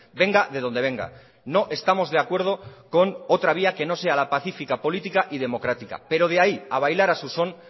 venga de donde venga no estamos de acuerdo con otra vía que no sea la pacífica política y democrática pero de ahí a bailara su son